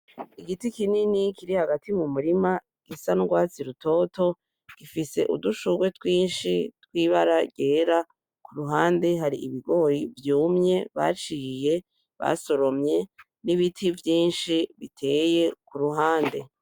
Igiti kinini kiri hagati mumurima gisa nurwatsi rutoto gifise udushugwe twinshi twibara ryera kuruhande hari ibigori vyumye baciye, basoromye n'ibiti vyinshi biteye kuruhande .